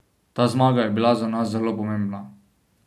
Ta zmaga je bila za nas zelo pomembna.